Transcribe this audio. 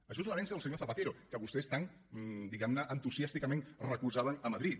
això és l’herència del senyor zapatero que vostès tant diguemne entusiàsticament recolzaven a madrid